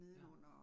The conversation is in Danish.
Ja